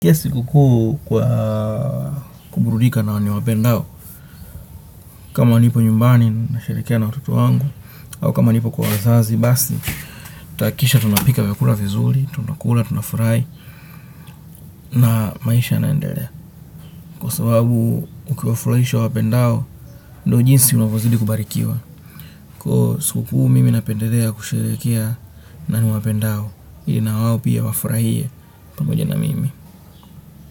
Pia siku kuu kwa kuburudika na niwapendao, kama nipo nyumbani, nasherehekea na watoto wangu, au kama nipo kwa wazazi, basi, tutahakikisha tunapika vyakula vizuri, tunakula, tunafurahi, na maisha yanaendelea. Kwa sababu ukiwafurahisha uwapendao, ndio jinsi unavyozidi kubarikiwa. Kwa hivo siku kuu mimi napendelea kusherehekea na niwapendao ili na wao pia wafurahie pamoja na mimi.